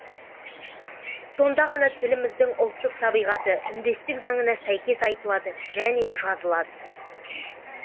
сонда ғана тіліміздің ұлттық табыйғаты үндестік заңына сәйкес айтылады және жазылады